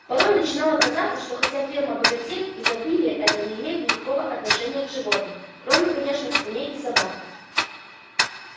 порой начинало казаться что хотя ферма богатеет изобилие это не имеет никакого отношения к животным кроме конечно свиней и собак